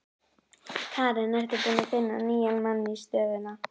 Karen: Ertu búinn að finna nýjan mann í stöðuna?